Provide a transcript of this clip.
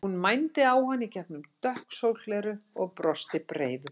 Hún mændi á hann í gegnum dökk sólgleraugu og brosti breiðu brosi.